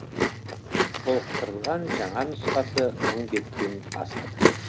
толықтырылған жаңа нұсқасы мың беттен асады